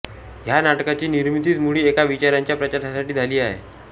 ह्या नाटकाची निर्मितीच मुळी एका विचारांच्या प्रचारासाठी झाली आहे